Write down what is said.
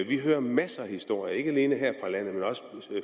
vi hører masser af historier ikke alene her